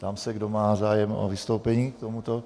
Ptám se, kdo má zájem o vystoupení k tomuto.